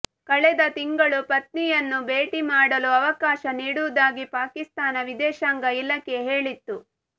ಕಳೆದ ತಿಂಗಳು ಪತ್ನಿಯನ್ನು ಭೇಟಿ ಮಾಡಲು ಅವಕಾಶ ನೀಡುವುದಾಗಿ ಪಾಕಿಸ್ತಾನ ವಿದೇಶಾಂಗ ಇಲಾಖೆ ಹೇಳಿತ್ತು